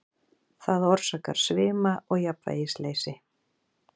Það orsakar svima og jafnvægisleysi.